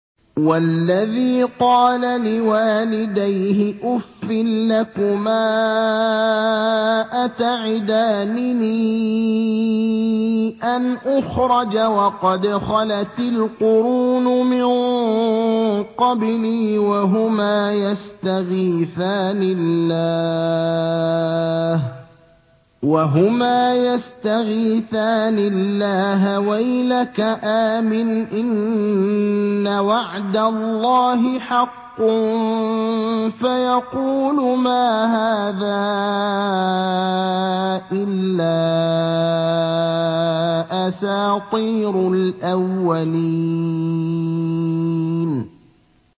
وَالَّذِي قَالَ لِوَالِدَيْهِ أُفٍّ لَّكُمَا أَتَعِدَانِنِي أَنْ أُخْرَجَ وَقَدْ خَلَتِ الْقُرُونُ مِن قَبْلِي وَهُمَا يَسْتَغِيثَانِ اللَّهَ وَيْلَكَ آمِنْ إِنَّ وَعْدَ اللَّهِ حَقٌّ فَيَقُولُ مَا هَٰذَا إِلَّا أَسَاطِيرُ الْأَوَّلِينَ